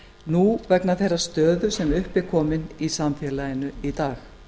nú vegna þeirrar stöðu sem upp er komin í samfélaginu í dag